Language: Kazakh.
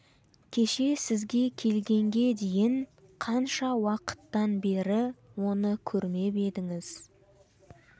кеше сізге келгенге дейін қанша уақыттан бері оны көрмеп едіңіз